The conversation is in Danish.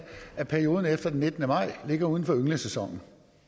at perioden efter den nittende maj ligger uden for ynglesæsonen